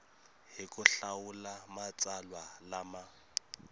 hi ku hlawula matsalwa lama